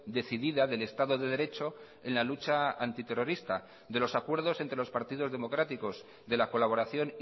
decidida del estado de derecho en la lucha antiterrorista de los acuerdos entre los partidos democráticos de la colaboración